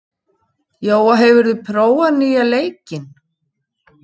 Jóa, hefur þú prófað nýja leikinn?